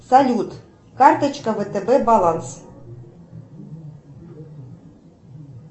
салют карточка втб баланс